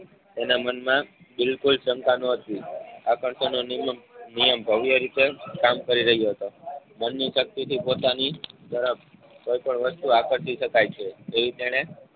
તેના મનમાં બિલકુલ ક્ષમતા ન હતી આકર્ષણનો નિમક નિયમ ભવ્ય રીતે કામ કરી રહ્યો હતો. મોરની શક્તિથી પોતાની ઝડપ કોઈ પણ વસ્તુ આકર્ષી શકાય છે. એવી તેને